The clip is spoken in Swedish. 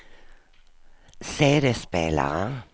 CD-spelare